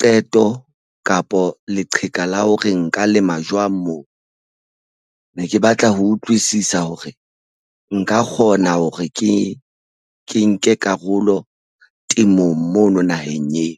qeto kapo leqheka la ho re nka lema jwang moo ne ke batla ho utlwisisa hore nka kgona hore ke nke karolo temong mono naheng eo?